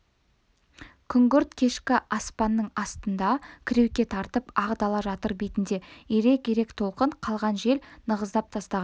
күңгірт кешкі аспанның астында кіреуке тартып ақ дала жатыр бетінде ирек-ирек толқын қалған жел нығыздап тастаған